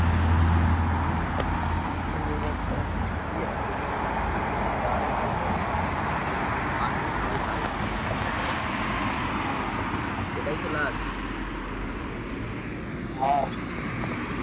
এমনি ওয়েদার টা বৃষ্টি এত বৃষ্টি ভালো লাগে নাকি গা আর তো কাজ নেই. এটা আইডি ফারিতে পাঠালে তবে কাজে. হ্যাঁ এটাই তো লাস্ট লাস্ট